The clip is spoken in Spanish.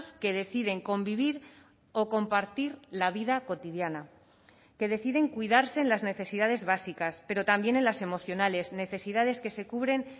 que deciden convivir o compartir la vida cotidiana que deciden cuidarse en las necesidades básicas pero también en las emocionales necesidades que se cubren